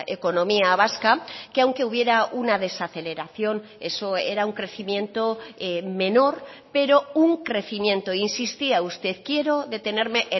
economía vasca que aunque hubiera una desaceleración eso era un crecimiento menor pero un crecimiento insistía usted quiero detenerme